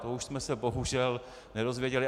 To už jsme se bohužel nedozvěděli.